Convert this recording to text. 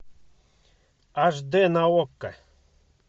аш дэ на окко